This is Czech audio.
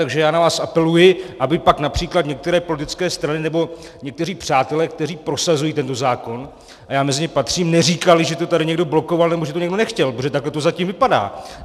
Takže já na vás apeluji, aby pak například některé politické strany nebo někteří přátelé, kteří prosazují tento zákon, a já mezi ně patřím, neříkali, že to tady někdo blokoval nebo že to někdo nechtěl, protože takhle to zatím vypadá.